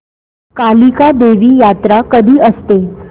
कालिका देवी यात्रा कधी असते